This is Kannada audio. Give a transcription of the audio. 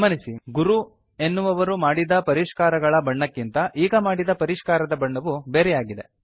ಗಮನಿಸಿ ಗುರು ಎನ್ನುವವರು ಮಾಡಿದ ಪರಿಷ್ಕಾರಗಳ ಬಣ್ಣಕ್ಕಿಂತ ಈಗ ಮಾಡಿದ ಪರಿಷ್ಕಾರದ ಬಣ್ಣವು ಬೇರೆಯಾಗಿದೆ